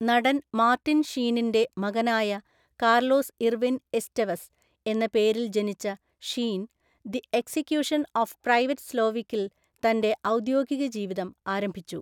നടൻ മാർട്ടിൻ ഷീനിന്‍റെ മകനായ കാർലോസ് ഇർവിൻ എസ്റ്റെവസ് എന്ന പേരില്‍ ജനിച്ച Sheen, the execution of private സ്ലോവിക്കിൽ തന്‍റെ ഔദ്യോഗികജീവിതം ആരംഭിച്ചു.